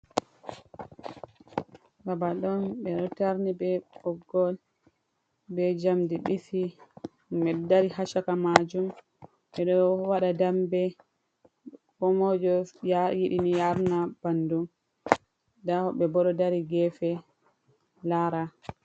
Babal on beɗo tarni be ɓoggol be jamdi disi himɓe ɗo dari hashaka majum, beɗo waɗa dambe komoijo yidini yarina bandum, nda woɓɓe ɓebo ɗo dari gefe lara.